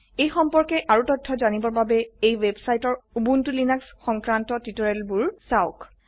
এই সম্পৰ্কে আৰু তথ্য জানিবৰ বাবে এই ওয়েবসাইট ৰ উবুন্টু লিনাক্স সংক্ৰান্ত টিউটোৰিয়েলবোৰ চাওক